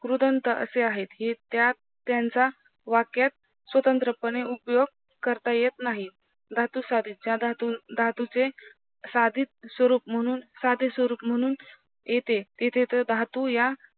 क्रूदंत असे आहेत हे त्यात त्यांचा वाक्यात स्वतंत्र पणे उपयोग करता. येत नही धातुसाधित या धातूचे साधित स्वरूप म्हणून साधे स्वरूप म्हणून, येथे तेथे तर धातू या